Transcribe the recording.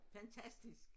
Fantastisk